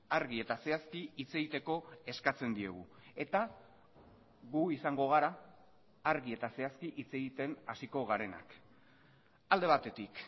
argi eta zehazki hitz egiteko eskatzen diegu eta gu izango gara argi eta zehazki hitz egiten hasiko garenak alde batetik